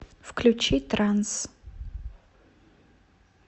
включи транс